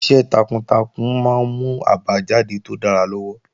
Iṣẹ́ takuntakun máa ń mú àbájáde tó dára lọ́wọ́